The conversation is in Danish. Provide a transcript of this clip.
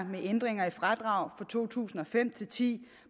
med ændringer i fradrag for to tusind og fem til ti